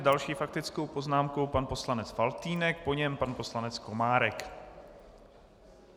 S další faktickou poznámkou pan poslanec Faltýnek, po něm pan poslanec Komárek.